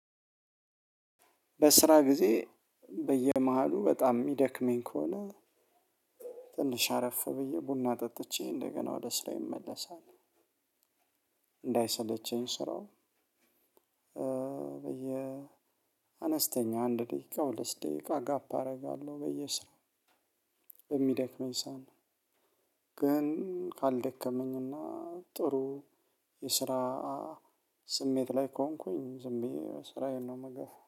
በስራ ጊዜ በየመሃሉ በጣም እሚደክመኝ ከሆነ ትንሽ አረፍ ብዬ ቡና ጠጥቼ እንደገና ወደ ስራየ እመለሳለሁ። እንዳይሰለቸኝ ስራው። በየ አነስተኛ አንድ ደቂቃ ሁለት ደቂቃ ጋፕ አደርጋለሁ። በየስራ የሚደክመኝ ሰዓት ግን ካልደከመኝና ጥሩ የስራ ስሜት ላይ ከሆንኩኝ ዝም ብዬ ስራዬን ነው እምገፋው